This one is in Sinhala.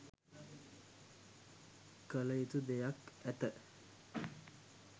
කළයුතු දෙයක් ඇත.